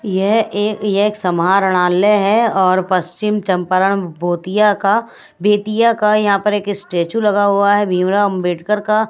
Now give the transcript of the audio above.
यह एक ये एक समाणर्लय है और पश्चिम चंपरण भोतिया का बेतिया का यहां पर एक स्टैचू लगा हुआ है भीमराव अंबेडकर का।